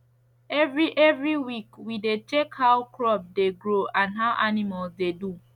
every every week we dey check how crop dey grow and how animals dey do